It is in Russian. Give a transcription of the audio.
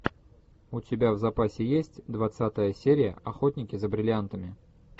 у тебя в запасе есть двадцатая серия охотники за бриллиантами